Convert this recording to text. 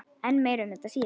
En meira um þetta síðar.